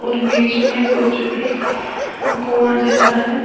बीच में कुछ कुआं जैसा है।